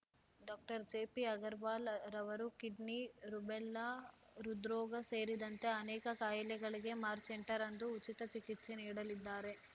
doctor JP Agarwal ರವರು kidney rubella ಹೃದ್ರೋಗ ಸೇರಿದಂತೆ ಅನೇಕ ಕಾಯಿಲೆಗಳಿಗೆ ಮಾರ್ಚ್ ಎಂಟರಂದು ಉಚಿತ ಚಿಕಿತ್ಸೆ ನೀಡಲಿದ್ದಾರೆ